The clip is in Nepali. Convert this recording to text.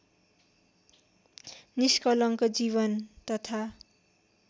निष्कलङ्क जीवन तथा